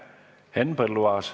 Henn Põlluaas.